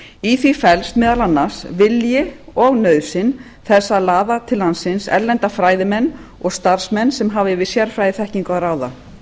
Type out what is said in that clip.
í því felst meðal annars vilji og nauðsyn þess að laða til landsins erlenda fræðimenn og starfsmenn sem hafa yfir sérfræðiþekkingu að ráða